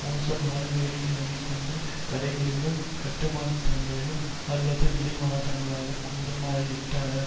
மோசமான வேலைநிலைமை கொண்ட கடைகளிலும் கட்டுமானத்தளங்களிலும் அல்லது விலை மாதர்களாகக் கூட மாறிவிட்டார்